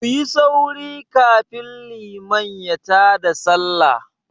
Kuyi sauri kafin liman ya ta da Sallah!